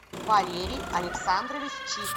валерий александрович чик